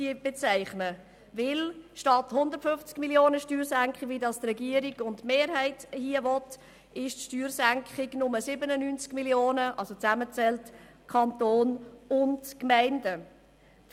Mit ihm macht die Steuersenkung statt 150 Mio. Franken – wie es der Regierungsrat und die Kommissionsmehrheit wünschen – nur 97 Mio. Franken aus, wenn man die Steuern von Kanton und Gemeinden zusammenzählt.